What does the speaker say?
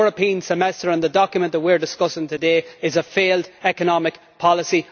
The European Semester and the document that we are discussing today are a failed economic policy.